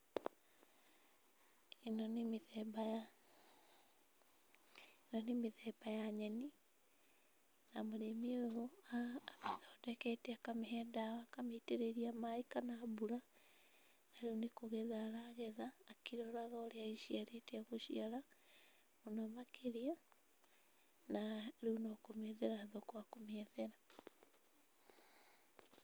Ĩno nĩ mĩtemba ya, ĩno nĩ mĩtemba ya nyeni na mũrĩmi ũyũ athondekete akamĩhe ndawa akamĩitĩrĩria maĩ kana mbura, na rĩu nĩkũgetha aragetha akĩroraga ũrĩa ĩciarĩte, gũcira mũno makĩria, na rĩu no kũmĩethera thoko akũmĩethera.